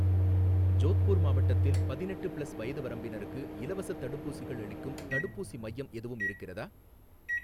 ஜோத்பூர் மாவட்டத்தில் பதினெட்டு ப்ளஸ் வயது வரம்பினருக்கு இலவசத் தடுப்பூசிகள் அளிக்கும் தடுப்பூசி மையம் எதுவும் இருக்கிறதா?